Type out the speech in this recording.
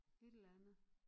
Et eller andet